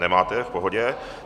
Nemáte, v pohodě.